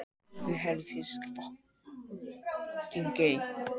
Þær eru skráðar í þjóðsögum Sigfúsar Sigfússonar.